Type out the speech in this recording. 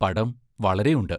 പടം വളരെയുണ്ട്.